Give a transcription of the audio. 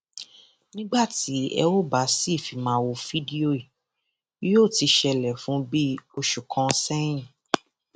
nígbà tí ẹ óò bá sì fi máa wo fídíò yìí yóò ti ṣẹlẹ fún bíi oṣù kan sẹyìn